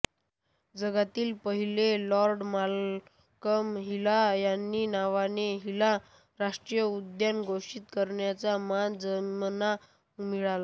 त्यातील पहिले Lord Malcolm Hailey यांच्या नावाने हिली राष्ट्रीय उद्यान घोषित करण्याचा मान जिमना मिळाला